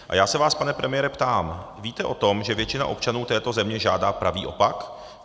A já se vás, pane premiére, ptám: Víte o tom, že většina občanů této země žádá pravý opak?